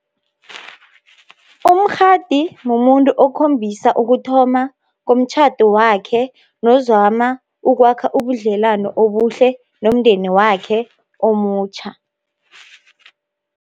Umkgadi mumuntu okhombisa ukuthoma komtjhado wakhe, nozama ukwakha ubudlelani obuhle nomndeni wakhe omutjha.